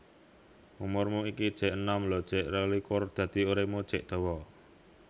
Umurmu iki jek enom lho jek rolikur dadi uripmu jek dawa